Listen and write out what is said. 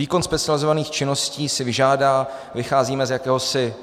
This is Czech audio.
Výkon specializovaných činností si vyžádá - vycházíme z jakéhosi